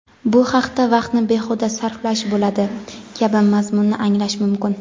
bu faqat vaqtni behuda sarflash bo‘ladi kabi mazmunni anglash mumkin.